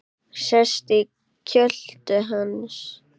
Sest í kjöltu hans.